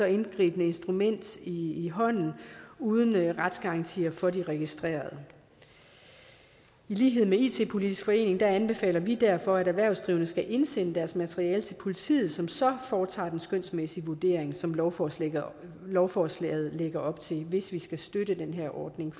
indgribende instrument i i hånden uden retsgarantier for de registrerede i lighed med it politisk forening anbefaler vi derfor at erhvervsdrivende skal indsende deres materiale til politiet som så foretager den skønsmæssige vurdering som lovforslaget lovforslaget lægger op til hvis vi skal støtte den her ordning